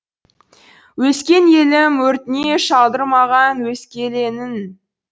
өскен елім өртіне шалдырмаған өскелеңін